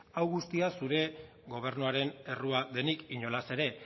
hau guztia zure gobernuaren errua denik inolaz ere